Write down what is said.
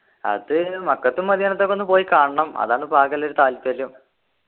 അത് മക്കത്തും മദീനത്തൊക്കെ ഒന്ന് പോയി കാണണം അതാണിപ്പോ ആകെയുള്ളൊരു താല്പര്യം